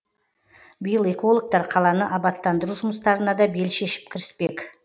биыл экологтар қаланы абаттандыру жұмыстарына да бел шешіп кіріспек